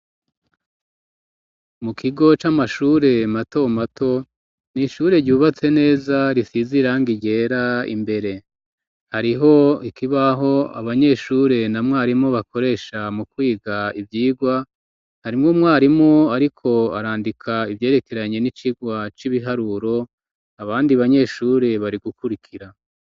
Mu kigo c'amashure mato mato n'ishure ryubatse neza risize irangi ryera imbere hariho ikibaho abanyeshure na mwarimu bakoresha mu kwiga ivyirwa harimwo umwarimu ariko arandika ivyerekeranye n'icirwa c'ibiharuro abandi banyeshure bari gukurikira